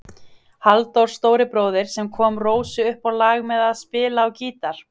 Halldór stóribróðir sem kom Rósu upp á lag með að spila á gítar.